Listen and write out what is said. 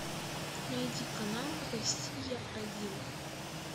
найди канал россия один